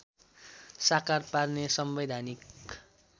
साकार पार्ने संवैधानिक